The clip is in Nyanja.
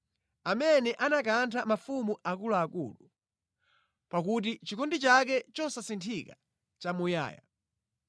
Amene anakantha mafumu akuluakulu, pakuti chikondi chake chosasinthika nʼchamuyaya.